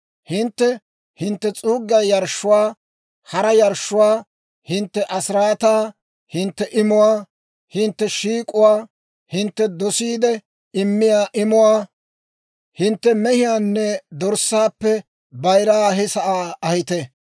Hintte hintte s'uuggiyaa yarshshuwaa, hara yarshshuwaa, hintte asiraataa, hintte imuwaa, hintte shiik'uwaa, hintte dosiide immiyaa imuwaa, hintte mehiyaanne dorssaappe bayiraa he sa'aa ahite.